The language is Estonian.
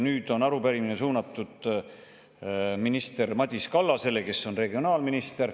Nüüd on arupärimine suunatud regionaalminister Madis Kallasele.